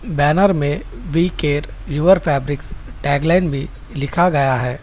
Banner में we care your fabrics tag line भी लिखा गया है।